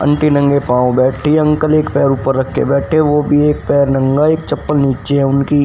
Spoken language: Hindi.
अंटी नंगे पांव बैठी है अंकल एक पैर ऊपर रखे बैठे हुए वो भी एक पैर नंगा एक चप्पल नीचे है उनकी।